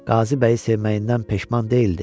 Qazıbəyi sevməyindən peşman deyildi.